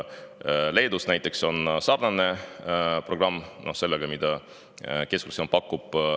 Leedus näiteks on sarnane programm sellega, mida pakub Keskerakond.